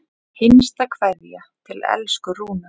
HINSTA KVEÐJA Til elsku Rúnu.